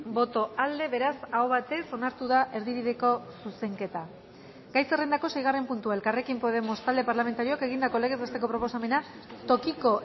boto aldekoa beraz aho batez onartu da erdibideko zuzenketa gai zerrendako seigarren puntua elkarrekin podemos talde parlamentarioak egindako legez besteko proposamena tokiko